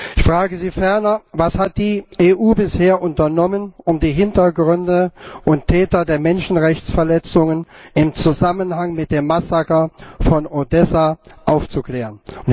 Ich frage Sie ferner Was hat die EU bisher unternommen, um die Hintergründe und Täter der Menschenrechtsverletzungen im Zusammenhang mit dem Massaker von Odessa aufzuklären?